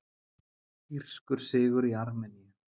Írskur sigur í Armeníu